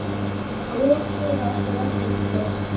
Guð gefi okkur öllum styrk.